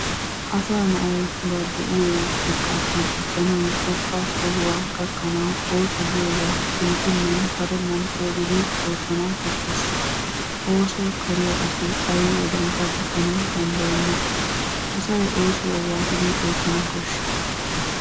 Asaa na'ayi ba de'iyo xekkaappe diccanawu xoqqa sohuwa gakkanawu ooso giyobaa shemppennan karennan coogidi oottana koshshes. Ooso kariya asi ayi wodiyankka diccana danddayenna. Asayi oosuwa waatidi oottana koshshii?